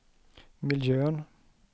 miljön